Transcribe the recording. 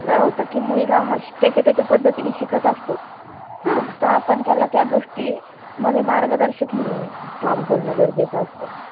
काय होतं की मुलगा हा शि त्याच्या त्याच्या पद्धतीनं शिकत असतो. फक्त आपण त्याला त्या गोष्टी मध्ये मार्गदर्शक म्हणून काम करण गरजेच असत.